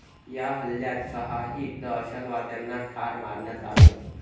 या हल्ल्यात सहाही दहशतवाद्यांना ठार मारण्यात आलंय.